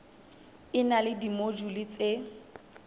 e na le dimojule tse